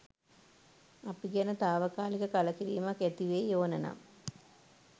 අපි ගැන තාවකාලික කලකිරීමක් ඇතිවෙයි ඕන නම්